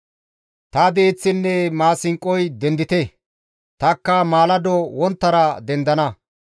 Ta diiththinne maasinqoy dendite! tanikka maalado wonttara dendana.